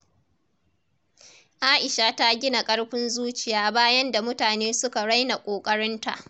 Aisha ta gina ƙarfin zuciya bayan da mutane suka raina ƙoƙarinta.